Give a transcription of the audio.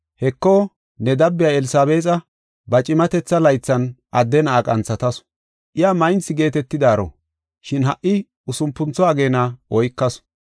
Heko, ne dabiya Elsabeexa ba cimatetha laythan adde na7a qanthatasu. Iya maynthi geetetidaaro, shin ha77i usupuntho ageena oykasu.